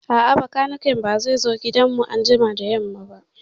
A'a, bakaniken ba zai zo gida anjima da yamma ba